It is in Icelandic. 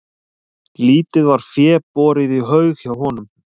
Lítið var fé borið í haug hjá honum.